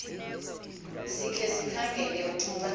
sikhe sikhangele ukuba